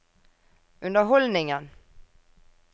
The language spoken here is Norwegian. underholdningen